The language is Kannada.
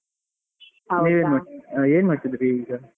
ಏನ್ ಮಾಡ್ತಿದ್ರಿ ಈಗ?